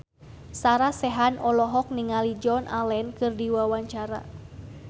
Sarah Sechan olohok ningali Joan Allen keur diwawancara